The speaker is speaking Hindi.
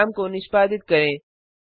प्रोग्राम को निष्पादित करें